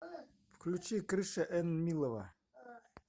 включи крыша энмилова